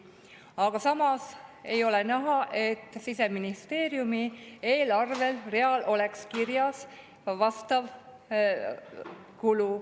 Aga samas ei ole näha, et Siseministeeriumi eelarvereal oleks kirjas vastav kulu.